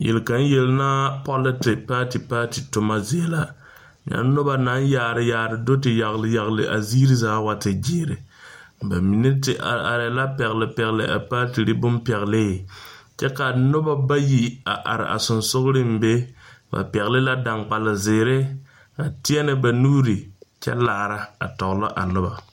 Yeli kaŋ yeli naa politics party party toma zie la, nyɛ noba naŋ yaari yaari a do te yageli yageli a ziiri zaa wa te gyɛre ba mine te are are la pɛgeli pɛgeli a paatirii bon pɛgeli kyɛ ka noba bayi a are a sensoleŋ be ba pɛgeli dankpal zeɛre a tɛnne nuuri a kyɛ laara a tɔɔlɔ a noba.